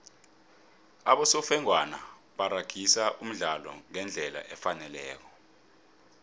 abosofengwana baragisa umdlalo ngendlela efaneleko